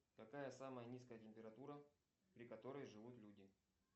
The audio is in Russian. какая самая низкая температура при которой живут люди